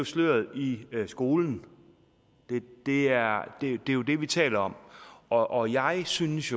sløret i skolen det er jo det vi taler om og jeg synes